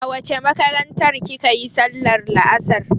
A wace makarantar kika yi sallar la'asar?